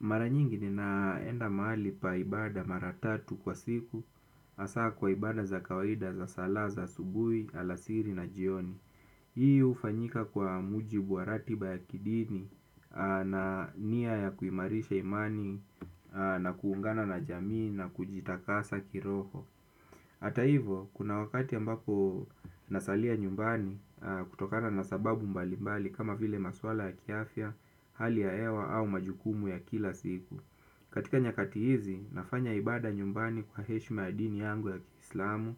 Maranyingi ni naenda mahali pa ibada mara tatu kwa siku, hasaa kwa ibada za kawaida za sala za subui, alasiri na jioni. Hii hufanyika kwa mujibu wa ratiba ya kidini na nia ya kuimarisha imani na kuungana na jamii na kujitakasa kiroho. Hata hivyo, kuna wakati ambapo nasalia nyumbani kutokana na sababu mbalimbali kama vile maswala ya kiafia, hali ya hewa au majukumu ya kila siku. Katika nyakati hizi, nafanya ibada nyumbani kwa heshima ya dini yangu ya kislamu.